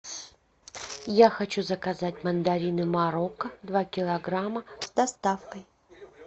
я хочу заказать мандарины марокко два килограмма с доставкой